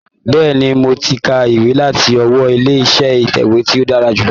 Bẹ́ẹ̀ni, mo ti ka ìwé láti ọwọ́ ilé iṣẹ́ itẹ̀wé tí ó dára jùlọ.